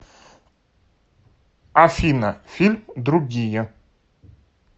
афина фильм другие